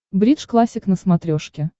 бридж классик на смотрешке